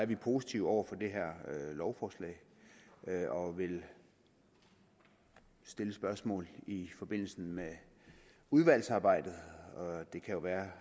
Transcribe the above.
vi positive over for det her lovforslag og vil stille spørgsmål i forbindelse med udvalgsarbejdet og det kan jo være